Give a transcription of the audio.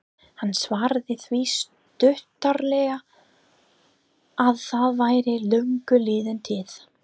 Hann svaraði því stuttaralega að það væri löngu liðin tíð.